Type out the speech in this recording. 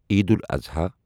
Eid al-Adha